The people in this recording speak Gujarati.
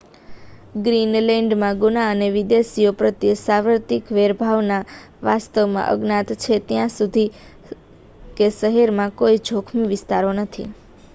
"ગ્રીનલેન્ડમાં ગુના અને વિદેશીઓ પ્રત્યે સાર્વત્રિક વેર ભાવના વાસ્તવમાં અજ્ઞાત છે. ત્યાં સુધી કે શહેરમાં કોઈ "જોખમી વિસ્તારો" નથી.